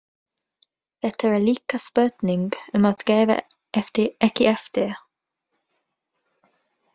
Þetta er líka spurning um að gefa ekki eftir.